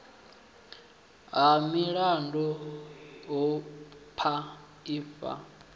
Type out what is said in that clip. ha milandu hu paa ifa